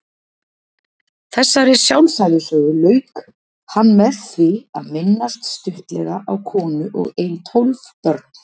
Þessari sjálfsævisögu lauk hann með því að minnast stuttlega á konu og ein tólf börn.